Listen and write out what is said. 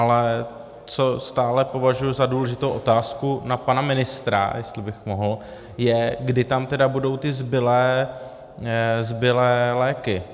Ale co stále považuji za důležitou otázku na pana ministra, jestli bych mohl, je, kdy tam tedy budou ty zbylé léky?